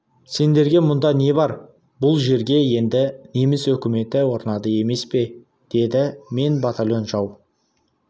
сендерге мұнда не бар бұл жерге енді неміс өкіметі орнады емес пе деді мен батальон жау